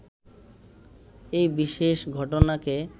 এই বিশেষ ঘটনাকে